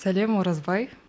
сәлем оразбай